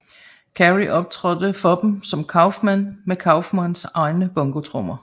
Carrey optrådte for dem som Kaufman med Kaufmans egne bongotrommer